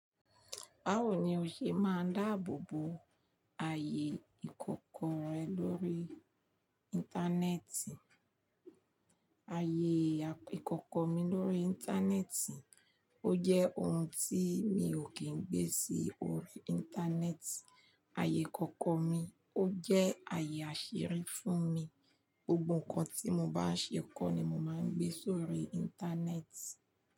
Báwo ni o ṣe máa dáàbò bo ayé ìkọ̀kọ̀ rẹ lórí Íńtánẹ́ẹ̀tì? Ayé ìkọ̀kọ̀ mi lórí Íńtánẹ́ẹ̀tì ó jẹ́ ohun tí mi ò kín ń gbé sí orí Íńtánẹ́ẹ̀tì. Ayé ìkọ̀kọ̀ mi ó jẹ́ ayé àṣírí fún mi. Gbogbo nńkan tí mo bá ń ṣe kọ́ ni mo máa ń gbé sórí Íńtánẹ́ẹ̀tì.